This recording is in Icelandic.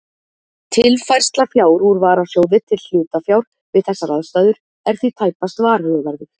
Tilfærsla fjár úr varasjóði til hlutafjár við þessar aðstæður er því tæpast varhugaverður.